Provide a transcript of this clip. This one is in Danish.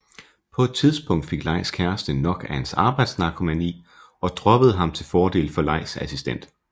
På et tidspunkt fik Leis kæreste nok af hans arbejdsnarkomani og droppede ham til fordel for Leis assistent